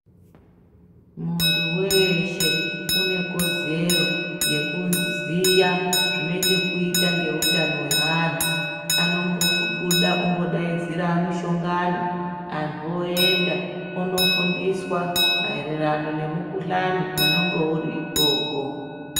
Muntu weshe une kodzero yekuziya zvine chekuita ngeutano hweantu. Anombobuda ombodaidzira mishongano antu oenda onofundiswa maererano nemukuhlani unenge uri ikoko.